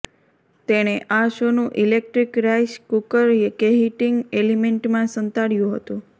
તેણે આ સોનું ઇલેક્ટ્રિક રાઇસ કૂકર કેહીટિંગ એલિમેન્ટમાં સંતાડ્યુ હતું